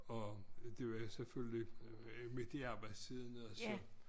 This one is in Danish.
Og det var selvfølgelig midt i arbejdstiden og så